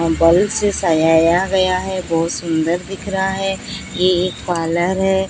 अ से सजाया गया है बहोत सुंदर दिख रहा है ये एक पार्लर हैं।